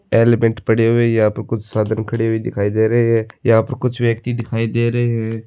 अल्पान्ट पड़े हुये है यहाँ पे कुछ साधन खड़े हुये दिखाय दे रहे है यहाँ पर कुछ व्यक्ति दिखाय दे रहे है।